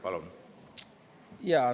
Palun!